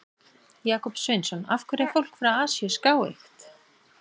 Jakob Sveinsson: Af hverju er fólk frá Asíu skáeygt?